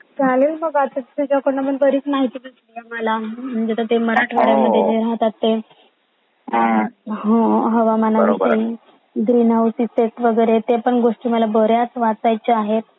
चालेल मग आता तुझाकडून बरेच माहिती भेटलिए मला आता म्हणजे ते आता मराठवाड्यात राहतात ते हो हवामान वरती ग्रीन हाऊस इफेक्ट वगैरे ते पण गोष्टी मला बऱ्यचा वाचायचा आहे